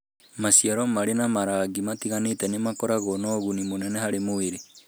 Maciaro marĩ na marangi matiganĩte nĩ makoragwo na ũguni mũnene harĩ mwĩrĩ.